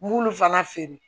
M'ulu fana feere